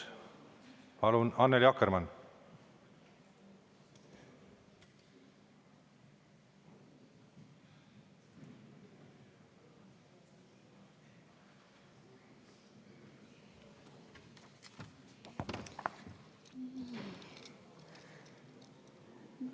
Palun, Annely Akkermann!